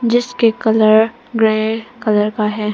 जिसके colour grey colour का है।